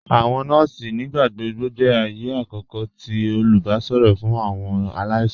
Awọn nọọ̀sì nígbàgbọ̀gbọ̀ jẹ́ ààyẹ̀ àkókò tì olùbàṣọ̀rọ̀ fún awọn aláìsàn.